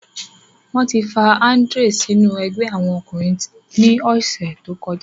Wọn ti fa Andrew sinu ẹgbẹ awọn ọkunrin ni ọsẹ to kọja.